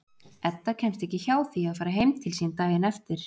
Edda kemst ekki hjá því að fara heim til sín daginn eftir.